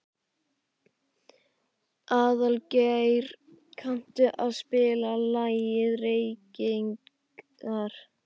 Aðalgeir, kanntu að spila lagið „Reykingar“?